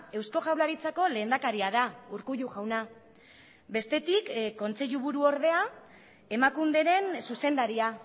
eusko jaurlaritzako lehendakaria da urkullu jauna bestetik kontseiluburu ordea emakunderen zuzendaria